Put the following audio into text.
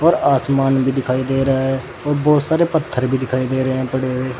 और आसमान भी दिखाई दे रहा है और बहोत सारे पत्थर भी दिखाई दे रहे हैं पड़े हुए।